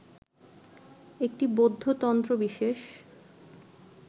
একটি বৌদ্ধ তন্ত্র বিশেষ